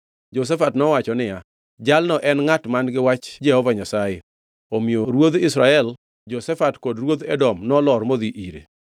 Jehoshafat nowacho niya, “Jalno en ngʼat man-gi wach Jehova Nyasaye.” Omiyo ruodh Israel, Jehoshafat kod ruodh Edom nolor modhi ire.